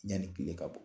Yanni kile ka bɔ